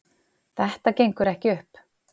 Þetta gengur ekki upp